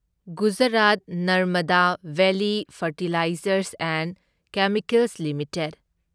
Gujarat Narmada Valley Fertilizers and Chemicals limited